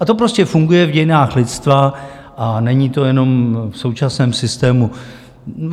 A to prostě funguje v dějinách lidstva a není to jenom v současném systému.